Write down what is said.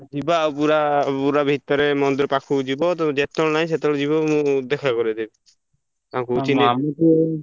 ଯିବା ଆଉ ପୁରା ପୁରା ଭିତରେ ମନ୍ଦିର ପାଖକୁ ଯିବ ତମେ ଜେତବେଳେ ନାଇଁସେତବେଳେ ଯିବ ମୁଁ ଦେଖା କରେଇ ଦେବି। ଚିହ୍ନେଇ ଦେବ୍ବି।